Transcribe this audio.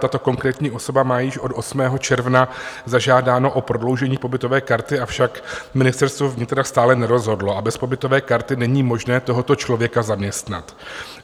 Tato konkrétní osoba má již od 8. června zažádáno o prodloužení pobytové karty, avšak Ministerstvo vnitra stále nerozhodlo, a bez pobytové karty není možné tohoto člověka zaměstnat.